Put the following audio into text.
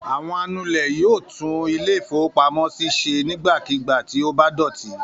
Àwọn anulẹ̀ yóò tún ilé-ìfowópamọ́sí ṣe nígbàkigbà tí ó bá dọ̀tí.